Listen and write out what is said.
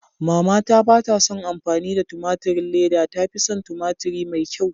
Mama ta batason amfani da a tumaturin leda, ta fison tumaturi mai kyau.